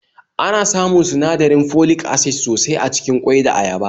Ana samun sinadirin folic acid sosai acikin ƙwai da ayaba